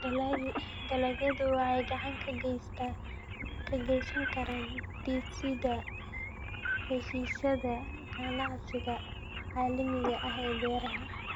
Dalagyadu waxay gacan ka geysan karaan dhisidda heshiisyada ganacsiga caalamiga ah ee beeraha.